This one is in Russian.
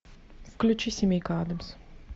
включи семейка адамс